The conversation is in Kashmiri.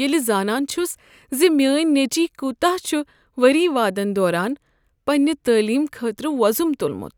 ییٚلہ زانان چھُس ز میٲنۍ نیٚچوۍ كوتاہ چھُ ؤری وادن دوران پننہٕ تعلیم خٲطرٕ ووزُم تُلمُت۔